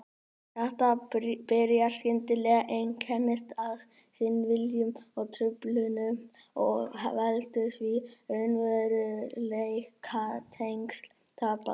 Þetta byrjar skyndilega, einkennist af skynvillum og-truflunum og veldur því að raunveruleikatengsl tapast.